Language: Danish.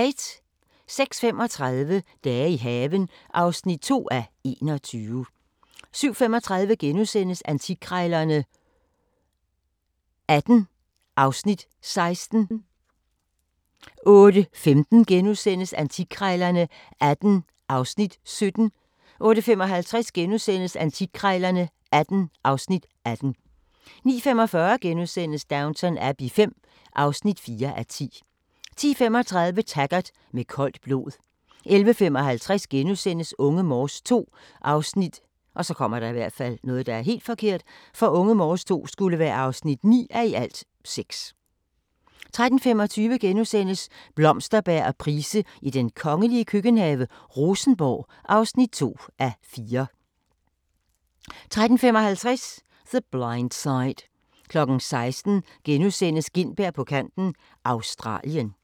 06:35: Dage i haven (2:21) 07:35: Antikkrejlerne XVIII (Afs. 16)* 08:15: Antikkrejlerne XVIII (Afs. 17)* 08:55: Antikkrejlerne XVIII (Afs. 18)* 09:45: Downton Abbey V (4:10)* 10:35: Taggart: Med koldt blod 11:55: Unge Morse II (9:6)* 13:25: Blomsterberg og Price i den kongelige køkkenhave: Rosenborg (2:4)* 13:55: The Blind Side 16:00: Gintberg på kanten – Australien *